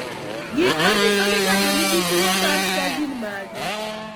Gik manyiso ni ng'ato nigi tuwo mar STAR gin mage?